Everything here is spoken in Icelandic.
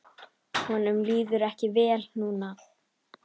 Honum líður ekki vel núna.